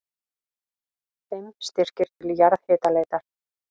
Fimm styrkir til jarðhitaleitar